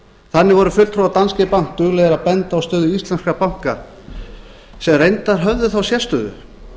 þannig voru fulltrúar danske bank duglegir að benda á stöðu ílesnkra banka sem reyndar höfðu þá sérstöðu